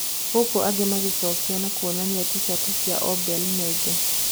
Gũkũ angĩ magĩcokia na kuonania ticati ya Obil nenge.